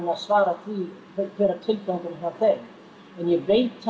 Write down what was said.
að svara því hver er tilgangurinn hjá þeim en ég veit